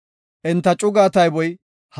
Enta cugaa tayboy 35,400.